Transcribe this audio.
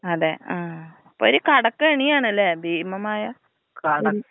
അതെ ആ ഒരു കടക്കെണിയാണല്ലെ ഭീമമായ ഒരു.